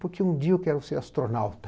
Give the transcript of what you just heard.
Porque um dia eu quero ser astronauta.